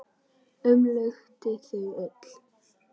Umlukti þau öll.